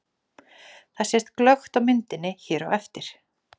Þetta sést glöggt á myndinni hér á eftir.